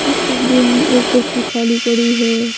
इस तस्वीर में एक कुर्सी खाली पड़ी है।